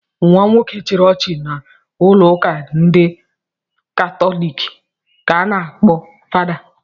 Nwa nwoke chịrị echichi n'ụlọụka ndị katọlik ka a na-akpọ fada.